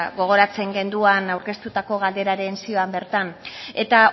gogoratzen genduan aurkeztutako galderaren zioan bertan eta